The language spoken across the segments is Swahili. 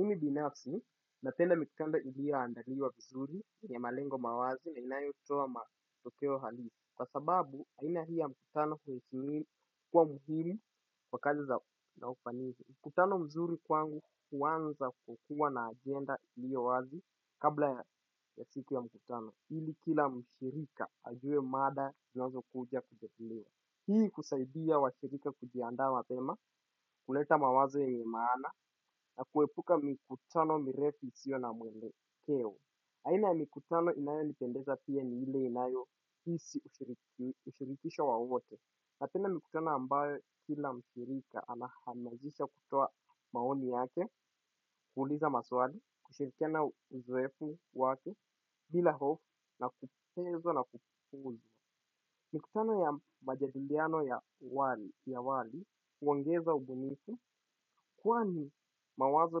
Mimi binafsi, napenda miktaba iliyondaliwa vizuri yenye malengo mawazi na inayo toa matokeo halisi. Kwa sababu aina hii ya mkutano kuhistimili kuwa muhiri wakati wa kufanisi mkutano mzuri kwangu huanza kwa kuwa na agenda iliyo wazi kabla ya siku ya mkutano ili kila mshirika ajue mada tunazo kuja kujadilia. Hii kusaidia wa shirika kujiandaa mapema, huleta mawazo yenye maana, na kuepuka mikutano mirefu isio na mwelekeo. Aina ya mikutano inayo nipendeza pia ni ile inayo hisi ushirikisho wa wote. Napenda mikutano ambayo kila mshirika anahamajisha kutoa maoni yake, kuuliza maswali, kushirikana uzoefu wake, bila hofu, na kupezwa na kupuzwa. Mikutano ya majadiliano ya wali ya awali huongeza ubunifu kwani mawazo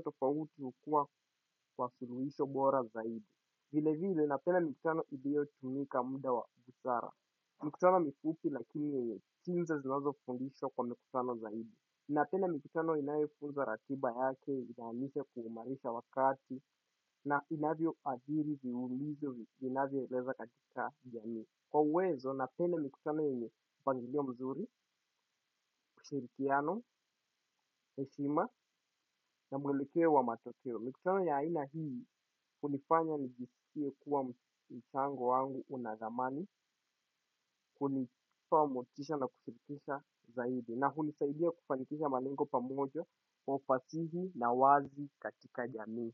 tofauti hukuwa kwa suluhisho bora zaidi. Vile vile napenda mikutano ilio tumika muda wa busara. Mikutano mifupi lakini yenye chinza zinazo fundishwa kwa mikutano zaidi. Napenda mikutano inayefunzwa ratiba yake inaamise kuumarisha wakati na inavyo adhiri viulizo vi inavyo eleza katika jamii. Kwa uwezo napenda mikutano yenye mpangilio mzuri ushirikiano heshima na mwelekeo wa matokeo. Mikutano ya aina hii, hunifanya nijisikie kuwa mchango wangu una thamani, kunitoa motisha na kushirikisha zaidi. Na hunisaidia kufanikisha malengo pamoja, kwa ufasihi na wazi katika jamii.